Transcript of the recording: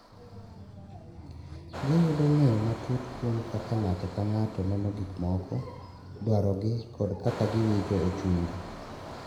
Giyudo ng’eyo matut kuom kaka ng’ato ka ng’ato neno gik moko, dwarogi, kod kaka giwinjo e chunygi.